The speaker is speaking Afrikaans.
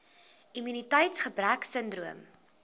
immuniteits gebrek sindroom